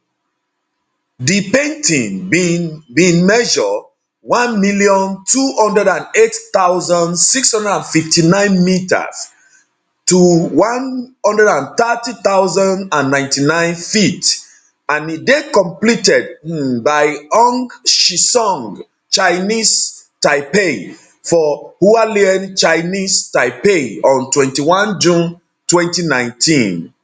di painting bin bin measure 1208659 m 130099 ft and e dey completed um by hung chisung chinese taipei for hualien chinese taipei on 21 june 2019